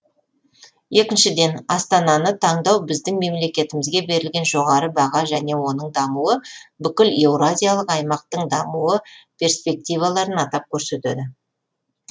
екіншіден астананы таңдау біздің мемлекетімізге берілген жоғары баға және оның дамуы бүкіл еуразиялық аймақтың дамуы персективаларын атап көрсетеді